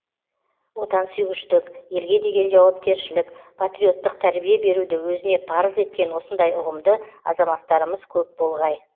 отансүйгіштік елге деген жауапкершілік патриоттық тәрбие беруді өзіне парыз еткен осындай ұғымды азаматтарымыз көп болғай